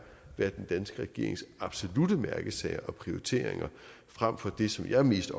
være den danske regerings absolutte mærkesager og prioriteringer frem for det som jeg mest